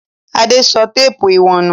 Adé sọ téépù ìwọ̀n nù?